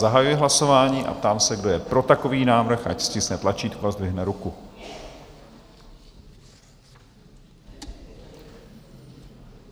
Zahajuji hlasování a ptám se, kdo je pro takový návrh, ať stiskne tlačítko a zdvihne ruku.